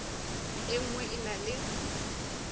e nngwe e na le